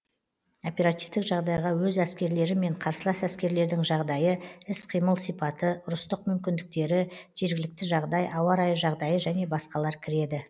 оперативтік жағдайға өз әскерлері мен қарсылас әскерлердің жағдайы іс қимыл сипаты ұрыстық мүмкіндіктері жергілікті жағдай ауа райы жағдайы және басқалар кіреді